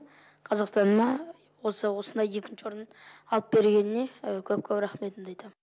қазақстаныма осындай екінші орын алып бергеніне көп көп рахметімді айтамын